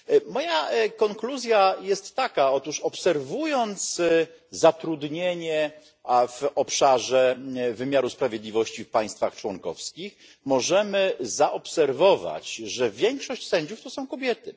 Moja konkluzja jest taka otóż obserwując zatrudnienie w obszarze wymiaru sprawiedliwości w państwach członkowskich, możemy dostrzec, że większość sędziów to są kobiety.